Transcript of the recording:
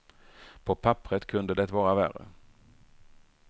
På papperet kunde det vara värre.